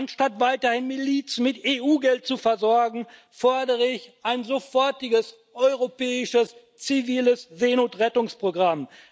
Anstatt weiterhin Milizen mit EU Geld zu versorgen, fordere ich ein sofortiges europäisches ziviles Seenotrettungsprogramm.